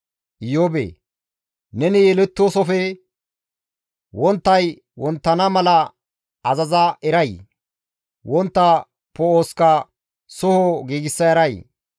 «Iyoobee! Neni yelettoosofe wonttay wonttana mala azaza eray? Wontta poo7oska soho giigsa eray?